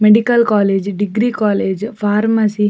Medical college degree college pharmacy .